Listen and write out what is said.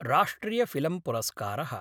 राष्ट्रियफिल्मपुरस्कार: